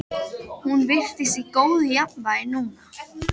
Hún virtist í góðu jafnvægi núna.